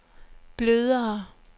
blødere